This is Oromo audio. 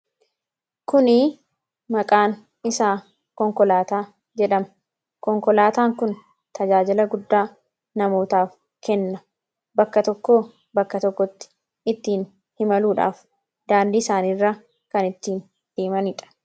Kuni maqaan isaa Konkolaataa jedhama. Konkolaataan kun tajaajila guddaa namootaaf kenna. Bakka tokkoo bakka tokkotti ittiin imaluudhaaf, daandii isaanii irra kan ittiin deemanidha.